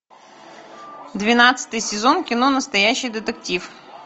двенадцатый сезон кино настоящий детектив